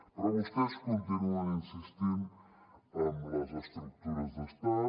però vostès continuen insistint en les estructures d’estat